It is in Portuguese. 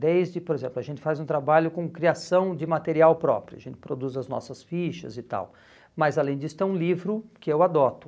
desde, por exemplo, a gente faz um trabalho com criação de material próprio, a gente produz as nossas fichas e tal, mas além disso tem um livro que eu adoto.